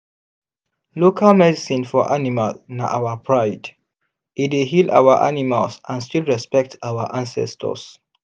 local medicine for animal na our pride—e dey heal our animals and still respect our ancestors.